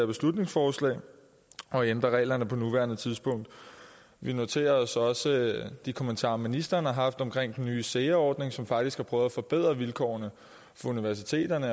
beslutningsforslag og ændrer reglerne på nuværende tidspunkt vi noterer os også de kommentarer ministeren har haft om den nye sea ordning som faktisk har prøvet at forbedre vilkårene for universiteterne